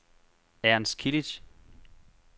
Ernst Kilic